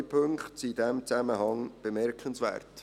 Zwei Punkte sind in diesem Zusammenhang bemerkenswert.